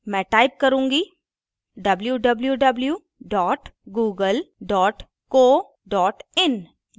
मैं type करुँगी www google co in